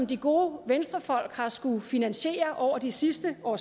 de gode venstrefolk har skullet finansiere over de sidste år